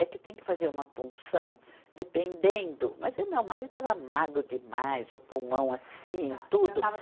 É que tem que fazer uma punção dependendo, mas o meu marido estava magro demais, o pulmão assim, tudo.